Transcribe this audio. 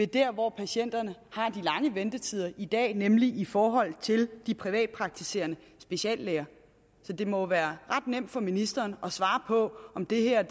der hvor patienterne har de lange ventetider i dag nemlig i forhold til de privatpraktiserende speciallæger så det må være ret nemt for ministeren at svare på om det her er